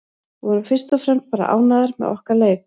Við vorum fyrst og fremst bara ánægðar með okkar leik.